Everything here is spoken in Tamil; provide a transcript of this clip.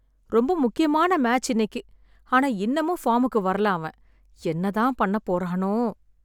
ரொம்ப முக்கியமான மேட்ச் இன்னைக்கு. ஆனா இன்னமும் ஃபார்முக்கு வரல அவன். என்ன தான் பண்ணப் போறானோ!